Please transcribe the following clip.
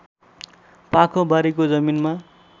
पाखोबारीको जमिनमा